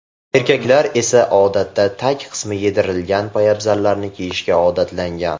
Erkaklar esa odatda tag qismi yedirilgan poyabzallarni kiyishga odatlangan.